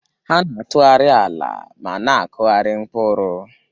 Ha na-atụgharị ala ma na-akụgharị mkpụrụ.